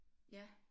Ja